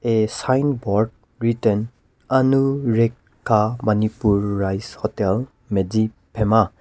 a sign board written anurekha manipur rice hotel medziphema.